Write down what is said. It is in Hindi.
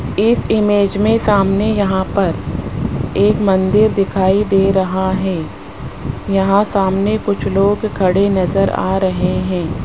इस इमेज में सामने यहां पर एक मंदिर दिखाई दे रहा है यहां सामने कुछ लोग खड़े नजर आ रहे हैं।